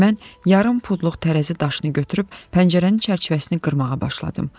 Mən yarım pudluq tərəzi daşını götürüb pəncərənin çərçivəsini qırmağa başladım.